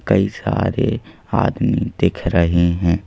कई सारे आदमी दिख रहे हैं।